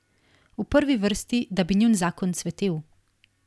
V prvi vrsti, da bi njun zakon cvetel.